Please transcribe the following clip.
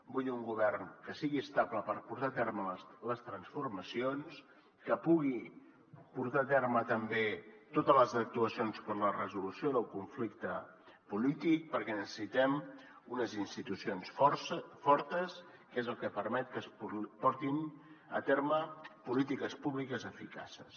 vull un govern que sigui estable per portar a terme les transformacions que pugui portar a terme també totes les actuacions per a la resolució del conflicte polític perquè necessitem unes institucions fortes que és el que permet que es portin a terme polítiques públiques eficaces